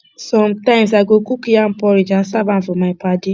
sometimes i go cook yam porridge and serve am for my padi